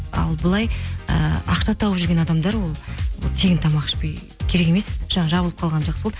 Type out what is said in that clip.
ал былай ііі ақша тауып жүрген адамдар ол тегін тамақ ішпей керек емес жаңағы жабылып қалған жақсы болды